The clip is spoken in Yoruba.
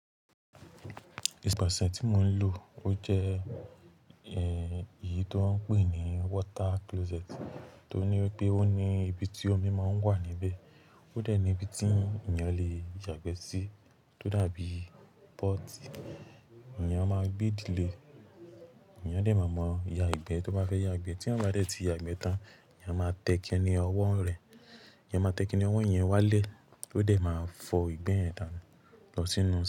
Ẹ̀sẹ̀ pàsẹ́ẹ̀ tí mo ń lò ó jẹ́ èyí tó ń pè ní water closet, tó ní pé ó ní ibi tí omi máa ń wà níbẹ̀. Ó dẹ̀ ní ibi tí ènìyàn le yàgbẹ́ sí, tó dàbí pọ́ọ̀tì. Ẹ̀nìyàn máa gbé ìdílé, ẹ̀níyàn dẹ̀ máa mọ ìyà ìgbẹ́ tó bá fẹ́ yàgbẹ́. Tí ẹ̀níyàn bá rẹ́ ti yàgbẹ́ tán, ẹ̀níyàn máa tẹ kiní ọwọ́ rẹ̀. Ẹ̀nìyàn máa tẹ kiní ọwọ́ yẹn wálé, ó dẹ̀ máa fọ ìgbẹ́ yẹn tán lọ sínú.